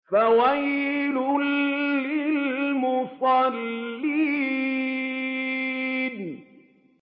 فَوَيْلٌ لِّلْمُصَلِّينَ